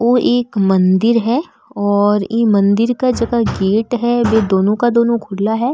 ओ एक मंदिर है और ई मंदिर क झका गेट है वे दोनों का दोनों खुला है।